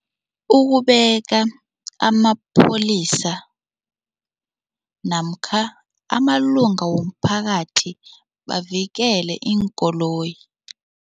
Ukubeka amapholisa namkha amalunga womphakathi bavikele iinkoloyi.